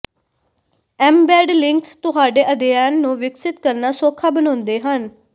embed links ਤੁਹਾਡੇ ਅਧਿਐਨ ਨੂੰ ਵਿਕਸਿਤ ਕਰਨਾ ਸੌਖਾ ਬਣਾਉਂਦੇ ਹਨ